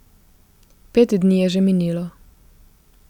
Pet dni je že minilo.